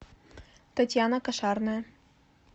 татьяна кошарная